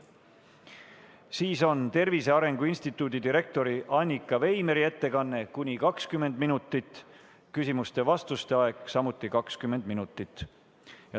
Siis on Tervise Arengu Instituudi direktori Annika Veimeri ettekanne, kuni 20 minutit, küsimuste ja vastuste aeg on samuti 20 minutit.